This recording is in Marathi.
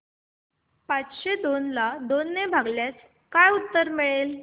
पाचशे दोन ला दोन ने भागल्यास काय उत्तर मिळेल